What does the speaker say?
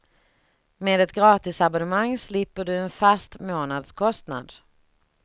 Med ett gratisabonnemang slipper du en fast månadskostnad.